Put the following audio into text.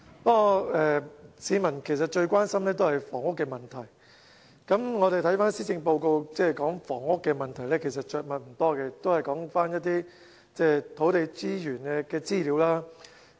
不過，市民最關心的是房屋問題，而施政報告對房屋問題其實着墨不多，都是說一些土地資源的資料。